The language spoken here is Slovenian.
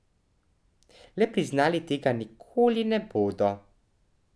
Le priznali tega nikoli ne bodo.